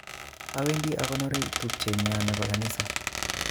Owendi akonori tubchet nyon nebo kanisa